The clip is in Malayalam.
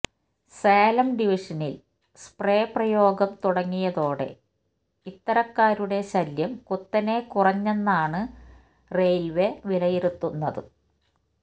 സേലം ഡിവിഷനില് സ്പ്രേ പ്രയോഗം തുടങ്ങിയതോടെ ഇത്തരക്കാരുടെ ശല്യം കുത്തനെ കുറഞ്ഞെന്നാണു റെയ്ല്വേ വിലയിരുത്തുന്നച്